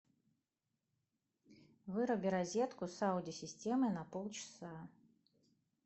выруби розетку с аудио системой на полчаса